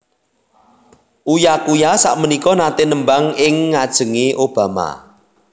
Uya Kuya sakmenika nate nembang ing ngajenge Obama